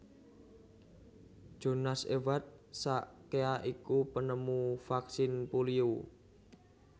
Jonas Edward Salkya iku penemu vaksin polio